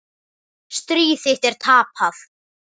Stríð þitt er tapað.